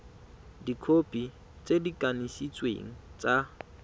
dikhopi tse di kanisitsweng tsa